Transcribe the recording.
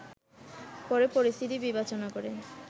পরে পরিস্থিতি বিবেচনা করে